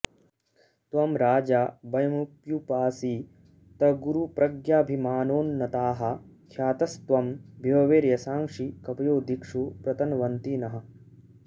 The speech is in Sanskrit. त्वं राजा वयमप्युपासितगुरुप्रज्ञाभिमानोन्नताः ख्यातस्त्वं विभवैर्यशांसि कवयो दिक्षु प्रतन्वन्ति नः